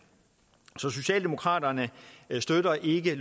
så socialdemokraterne støtter ikke